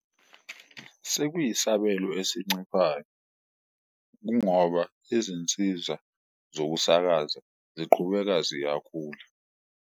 Sekuyisabelo esinciphayo kungoba izinsiza zokusakaza ziqhubeka ziyakhula.